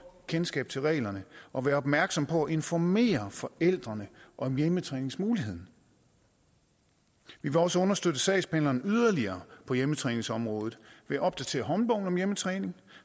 kendskab til reglerne og være opmærksomme på at informere forældrene om hjemmetræningsmuligheden vi vil også understøtte sagsbehandlerne yderligere på hjemmetræningsområdet ved at opdatere håndbogen om hjemmetræning